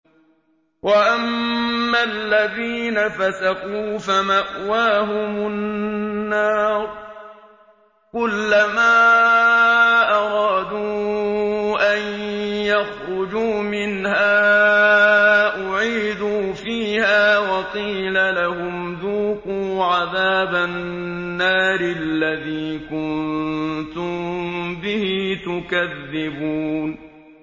وَأَمَّا الَّذِينَ فَسَقُوا فَمَأْوَاهُمُ النَّارُ ۖ كُلَّمَا أَرَادُوا أَن يَخْرُجُوا مِنْهَا أُعِيدُوا فِيهَا وَقِيلَ لَهُمْ ذُوقُوا عَذَابَ النَّارِ الَّذِي كُنتُم بِهِ تُكَذِّبُونَ